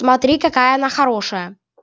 смотри какая она хорошая